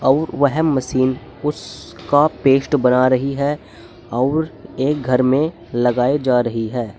और वह मशीन उस का पेस्ट बना रही है और एक घर में लगाए जा रही है।